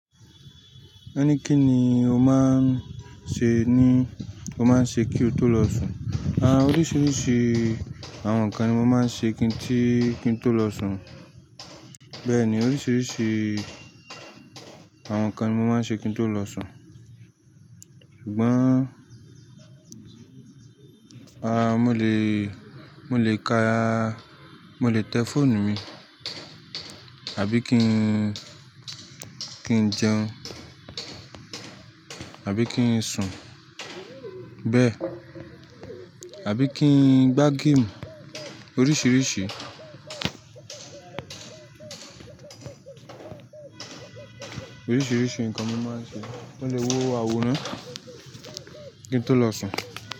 Ẹni kí ni o máa ń ṣe ní, o máa ń ṣe kí o tó lọ sùn? Àwọn oríṣiríṣi àwọn nǹkan ni mo máa ń ṣe kí n tó lọ sùn. Bẹ́ẹ̀ni oríṣiríṣi àwọn nǹkan ni mo máa ń ṣe kí n tó lọ sùn. Ṣùgbọ́n, aà mo lè, mo lè ka, mo lè tẹ fóònù mi, àbí kí n, kí n jẹun, àbí kí n sùn. Bẹ́ẹ̀, àbí kí n gbá game. Oríṣiríṣi, oríṣiríṣi nǹkan ni mo máa ń ṣe. Mo lè wo àwòrán kí n tó lọ sùn.